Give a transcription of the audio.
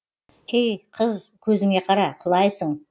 ей қыз көзіңе қара құлайсың